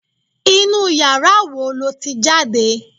Inú yàrá wo lo ti jáde